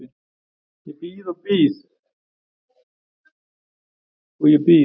Ég bíð og ég bíð.